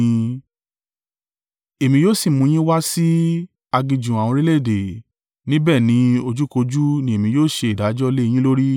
Èmi yóò si mú yín wá sí aginjù àwọn orílẹ̀-èdè, níbẹ̀ ni ojúkójú ni èmi yóò ṣe ìdájọ́ lé e yín lórí.